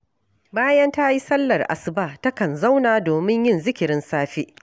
Bayan ta yi sallar asuba takan zauna domin yin zikirin safe